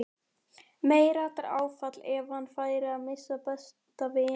Meiriháttar áfall ef hann færi að missa besta vininn líka.